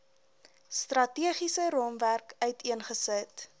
strategiese raamwerk uiteengesit